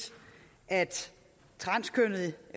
at transkønnede